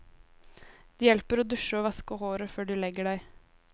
Det hjelper å dusje og vaske håret før du legger deg.